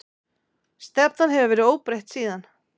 Stefnan hefur verið óbreytt síðan.